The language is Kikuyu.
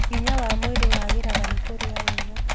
Hinya wa mwĩrĩ wagĩraga nĩ kũrĩa wega